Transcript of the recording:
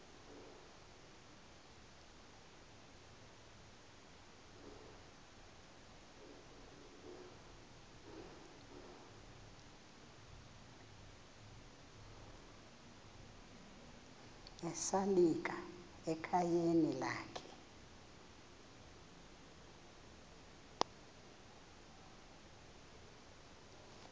esalika ekhayeni lakhe